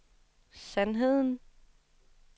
sandheden